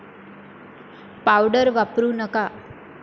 Powder वापरू नका.